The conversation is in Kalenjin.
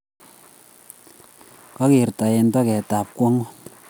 Kokerto eng toget ab kwang'ut